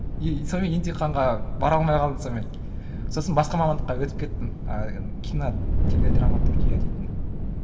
и сонымен емтиханға бара алмай қалдым сонымен сосын басқа мамандыққа өтіп кеттім ыыы кинотеледраматургия дейтін ммм